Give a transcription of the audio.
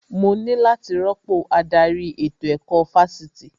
Mo ní láti rọ́pò adarí ètò ẹ̀kọ́ Fásitì